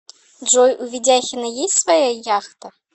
джой у ведяхина есть своя яхта